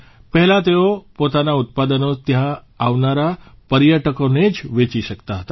પહેલાં તેઓ પોતાના ઉત્પાદનો ત્યાં આવનારા પર્યટકોને જ વેચતી હતી